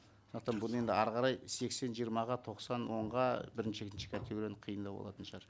сондықтан бұны енді әрі қарай сексен жиырмаға тоқсан онға бірінші екінші категорияны қиындау болатын шығар